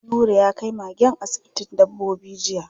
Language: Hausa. Nura ya kai magen asibitin dabbobi jiya.